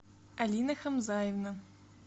алина хамзаевна